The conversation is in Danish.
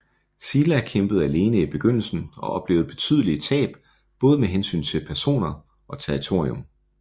Silla kæmpede alene i begyndelsen og oplevede betydelige tab både med hensyn til personer og territorium